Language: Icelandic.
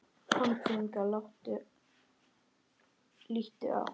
Komdu hingað, líttu á!